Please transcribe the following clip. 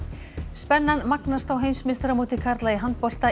spennan magnast á heimsmeistaramóti karla í handbolta